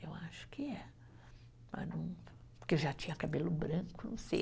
Eu acho que é, porque já tinha cabelo branco, não sei.